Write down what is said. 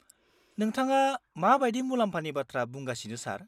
-नोंथाङा मा बायदि मुलाम्फानि बाथ्रा बुंगासिनो, सार?